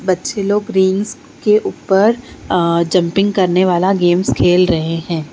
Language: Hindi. बच्चे लोग रिंग्स के ऊपर अ जम्पिंग करने वाला गेम खेल रहे हैं।